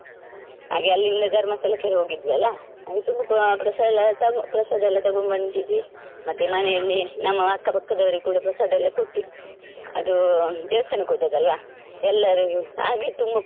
ಹಾಗೆ ಅಲ್ಲಿಂದ ಧರ್ಮಸ್ಥಳಕ್ಕೆ ಹೋಗಿದ್ವಲ್ಲ ಅಲ್ಲಿ ತುಂಬಾ ಪ್ರಸಾದ ಪ್ರಸಾದ ಎಲ್ಲ ತರ್ತಾರೆ ಪ್ರಸಾದ ಎಲ್ಲ ತಗೊಂಡ್ಬಂದಿದ್ವಿ ಮತ್ತೆ ಮನೆಯಲ್ಲಿ ನಮ್ಮ ಅಕ್ಕ ಪಕ್ಕದವರಿಗು ಕೂಡಾ ಪ್ರಸಾದ ಎಲ್ಲ ಕೊಟ್ವಿ ಅದು ದೇವಸ್ಥಾನಕ್ಕೆ ಹೋದದಲ್ವ ಎಲ್ಲರಿಗೂ ಹಾಗೆ ತುಂಬಾ.